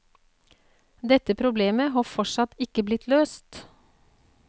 Dette problemet har fortsatt ikke blitt løst.